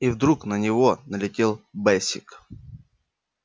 и вдруг на него налетел бэсик